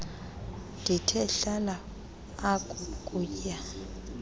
ndithe hlala akuukuya